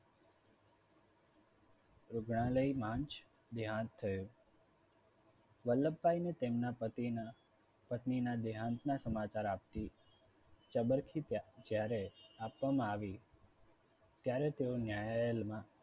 રૂબનાલયમાં જ દેહાંત થયું. વલ્લભભાઈ ને તેમના પત્નીના પત્નીના દેહાંતના સમાચાર આપતી ચબરખી જ્યા જ્યારે આપવામાં આવી ત્યારે તેઓ ન્યાયાલયમાં